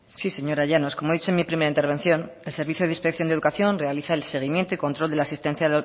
sí señora llanos como he dicho en mi primera intervención el servicio de inspección de educación realiza el seguimiento y el control de la asistencia